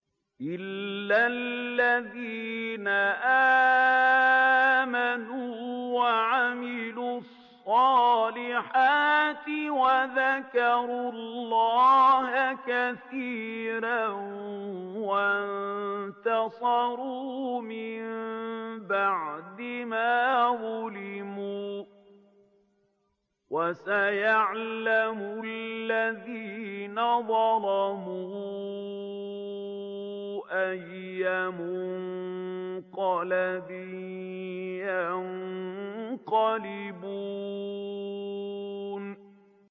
إِلَّا الَّذِينَ آمَنُوا وَعَمِلُوا الصَّالِحَاتِ وَذَكَرُوا اللَّهَ كَثِيرًا وَانتَصَرُوا مِن بَعْدِ مَا ظُلِمُوا ۗ وَسَيَعْلَمُ الَّذِينَ ظَلَمُوا أَيَّ مُنقَلَبٍ يَنقَلِبُونَ